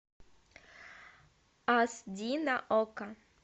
ас ди на окко